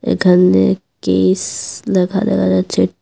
এখান দিয়ে কিস লেখা দেখা যাচ্ছে ।